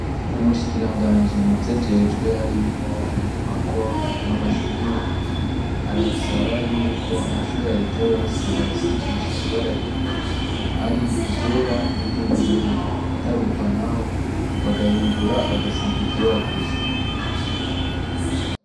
Umushikiranganji muvyajejwe harimwo inyubako n'amashure arasaba yuko amashure ya reta yose boyasigisha ibara rimwe ari iryera n'iry'ubururu ataruko naho bagahindura bagasiga iryera gusa.